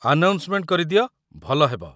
Announcement କରିଦିଅ, ଭଲ ହେବ ।